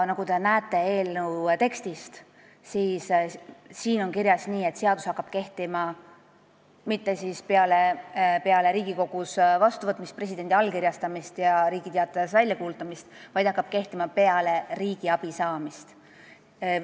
Nagu te näete, eelnõus on kirjas nii, et seadus ei hakka kehtima mitte peale Riigikogus vastuvõtmist, presidendi allkirjastamist ega Riigi Teatajas väljakuulutamist, vaid see hakkab kehtima peale riigiabiloa saamist.